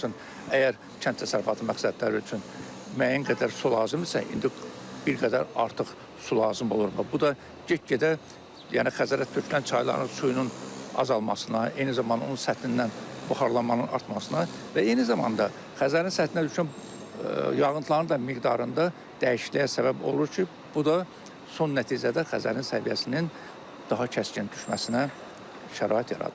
Misalçun, əgər kənd təsərrüfatı məqsədləri üçün müəyyən qədər su lazımdırsa, indi bir qədər artıq su lazım olur və bu da get-gedə, yəni Xəzərə tökülən çayların suyunun azalmasına, eyni zamanda onun səthindən buxarlanmanın artmasına və eyni zamanda Xəzərin səthinə düşən yağıntıların da miqdarında dəyişikliyə səbəb olur ki, bu da son nəticədə Xəzərin səviyyəsinin daha kəskin düşməsinə şərait yaradır.